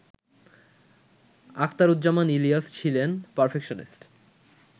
আখতারুজ্জামান ইলিয়াস ছিলেন পারফেকশনিস্ট